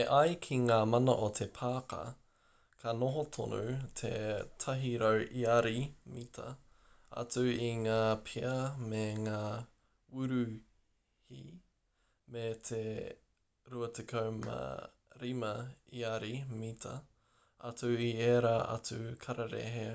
e ai ki ngā mana o te pāka me noho tonu te 100 iari/mita atu i ngā pea me ngā wuruhi me te 25 iari/mita atu i ērā atu kararehe